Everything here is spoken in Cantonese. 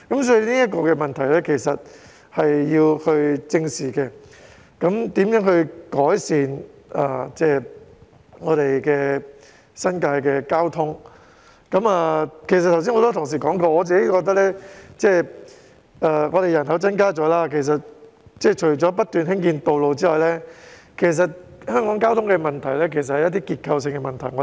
正如剛才也有很多同事提到，我個人認為新界的人口增加後，政府除了不斷興建道路外......我認為香港的交通問題其實是結構性問題。